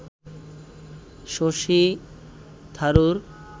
Shashi Tharoor